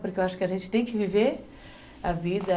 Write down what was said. Porque eu acho que a gente tem que viver a vida.